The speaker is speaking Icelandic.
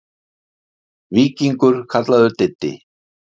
Víkingur kallaður Diddi.